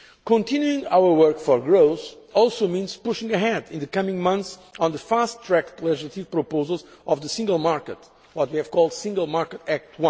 Continuing our work for growth also means pushing ahead in the coming months on the fast track legislative proposals of the single market, what we have called Single Market Act